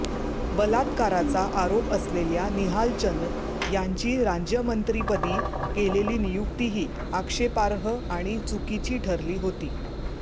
बलात्काराचा आरोप असलेल्या निहालचंद यांची राज्यमंत्रीपदी केलेली नियुक्तीही आक्षेपार्ह आणि चुकीची ठरली होती